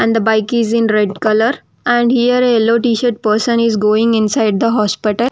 And the bike is in red colour and here a yellow T-shirt person is going inside the hospital.